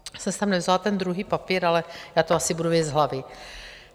Já jsem si sem nevzala ten druhý papír, ale já to asi budu vědět z hlavy.